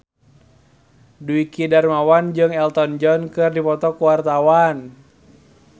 Dwiki Darmawan jeung Elton John keur dipoto ku wartawan